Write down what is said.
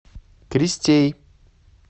кристей